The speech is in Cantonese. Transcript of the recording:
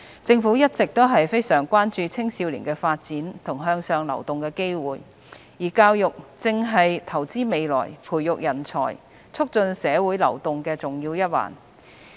政府一直非常關注青少年的發展和向上流動的機會，而教育正是投資未來、培育人才、促進社會流動的重要一環。